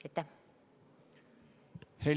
Aitäh!